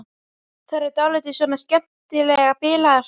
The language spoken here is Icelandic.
Þær eru dálítið svona skemmtilega bilaðar.